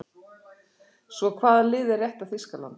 Svo hvaða lið er rétta Þýskaland?